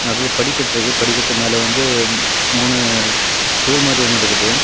நடுல படிக்கற்றுக்கு படிக்கட்டுக்கு மேல வந்து மூணு அ ஸ்டூல் மாறி ஒன்னு இருக்குது.